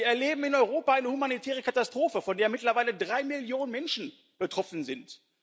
Wir erleben in Europa eine humanitäre Katastrophe, von der mittlerweile drei Millionen Menschen betroffen sind.